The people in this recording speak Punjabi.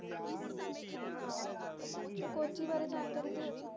ਕੋਚੀ ਬਾਰੇ ਜਾਣਕਾਰੀ ਦਿਯੋ ਜੀ